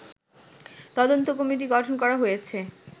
তদন্ত কমিটি গঠন করা হয়েছে